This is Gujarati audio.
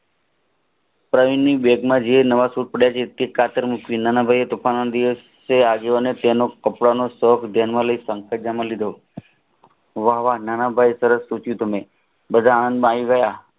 પ્રવીણ ની બેગ મા કાતર મુકવી નાના ભાઈએ વાહ વાહ નાનાભાઈ એ બધા આવી ગયા